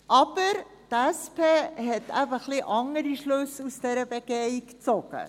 Aber die SP hat eben ein wenig andere Schlüsse aus dieser Begehung gezogen.